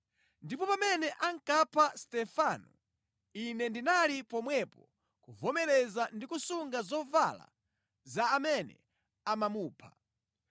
Ndipo pamene ankapha Stefano, ine ndinali pomwepo kuvomereza ndi kusunga zovala za amene amamupha.”